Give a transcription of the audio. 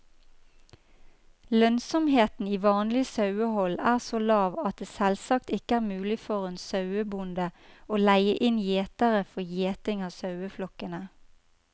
Lønnsomheten i vanlig sauehold er så lav at det selvsagt ikke er mulig for en sauebonde å leie inn gjetere for gjeting av saueflokkene.